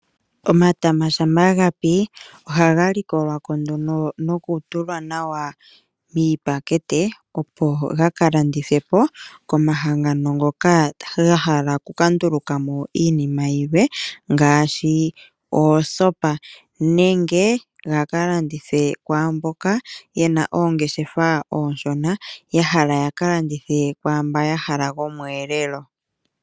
Omatama shampa gapi ohaga likolwako noku tula nawa miipakete opo gaka landithwepo komahangano ngoka gahala okuka ndulukamo iinima yilwe ngaashi oosopa nenge gaka landithwe kwaamboka yena oongeshefa oonshona yahala yaka landithe wamboa ya hala gomu elelo.